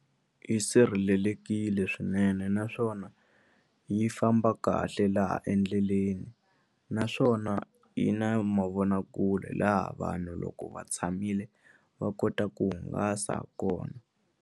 Yi sirhelelekile swinene naswona yi famba kahle laha endleleni naswona yi na mavonakule laha vanhu loko va tshamile va kota ku hungasa ha kona.